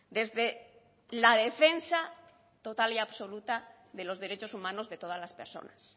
desde la defensa total y absoluta de los derechos humanos de todas las personas